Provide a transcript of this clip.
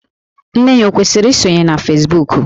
Nne ya ọ kwesiri isonye na Fesbuku?